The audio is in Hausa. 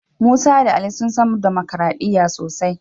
Musa da Ali sun san damakaraɗiya sosai.